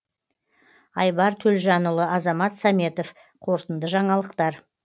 айбар төлжанұлы азамат саметов қорытынды жаңалықтар